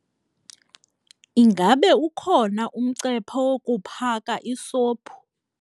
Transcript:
Ingaba ukhona umcephe wokuphaka isophu?